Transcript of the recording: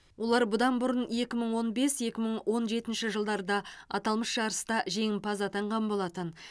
олар бұдан бұрын екі он бес екі мың он жетінші жылдарда аталмыш жарыста жеңімпаз атанған болатын